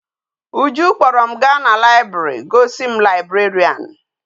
Uju kpoo rom ga na library go si m librarian